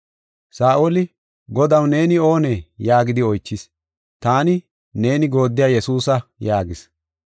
Saa7oli, “Godaw, neeni oonee?” yaagidi oychis. “Taani, neeni gooddiya Yesuusa” yaagis.